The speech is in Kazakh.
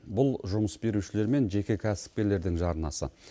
бұл жұмыс берушілер мен жеке кәсіпкерлердің жарнасы